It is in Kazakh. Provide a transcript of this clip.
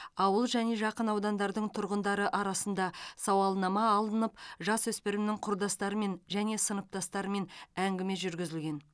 ауыл және жақын аудандардың тұрғындары арасында сауалнама алынып жасөспірімнің құрдастарымен және сыныптастарымен әңгіме жүргізілген